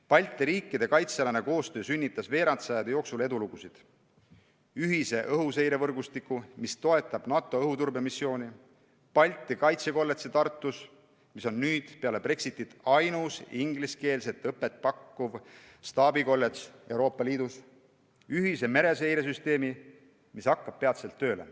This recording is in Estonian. Balti riikide kaitsealane koostöö sünnitas veerand sajandi jooksul edulugusid: ühise õhuseirevõrgustiku, mis toetab NATO õhuturbemissiooni, Balti Kaitsekolledži Tartus, mis on nüüd peale Brexitit ainus ingliskeelset õpet pakkuv staabikolledž Euroopa Liidus, ühise mereseiresüsteemi, mis hakkab peatselt tööle.